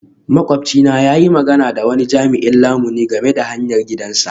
Makwabcinmu ya yi magana da wani jami'in lamuni game da hayar gidansa.